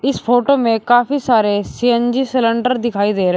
इस फोटो में काफी सारे सी_एन_जी सिलेंडर दिखाई दे रहे--